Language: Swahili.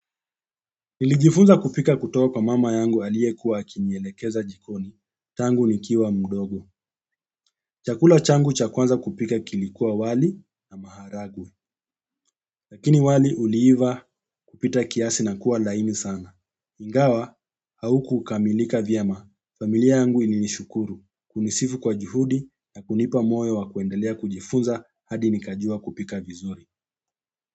Nilijifunza kupika kutoka kwa mama yangu aliyekuwa akinielekeza jikoni. Tangu nikiwa mdogo. Chakula changu cha kwanza kupika kilikuwa wali na maharagwe. Lakini wali uliiva kupita kiasi na kuwa laini sana. Ingawa haukukamilika vyema. Familia yangu ilinishukuru. Kunisifu kwa juhudi na kunipa moyo wa kuendelea kujifunza hadi nikajua kupika vizuri.